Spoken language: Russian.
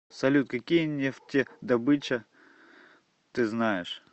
салют какие нефтедобыча ты знаешь